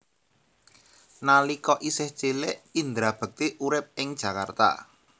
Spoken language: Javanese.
Nalika isih cilik Indra Bekti urip ing Jakarta